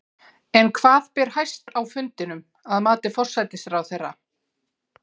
En hvað ber hæst á fundinum, að mati forsætisráðherra?